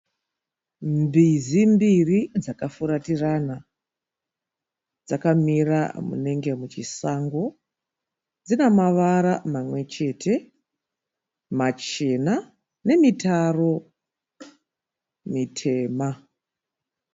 Mbizi mbiri dzakafuratirana, dzakamira munenge muchisango. Dzinamavara mamwechete machena nemitaro mitema.